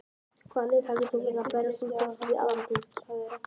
Hvaða lið heldur þú að verði að berjast um að komast upp í aðra deild?